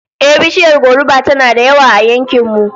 Ehh, bishiyar goruba tana da yawa a yankin mu